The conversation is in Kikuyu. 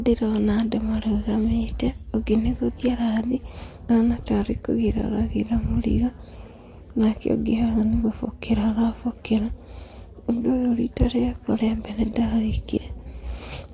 Ndĩrona andũ marũgamĩte ũngĩ nĩ gũthiĩ arathiĩ kũgĩra mũrigo, nake ũngĩ haha nĩ gũbokera arabokera. Ũndũ ũyũ rita rĩakwa rĩa mbere ndawĩkire,